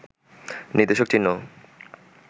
নির্দেশক চিহ্নও